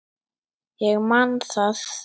Ég man það.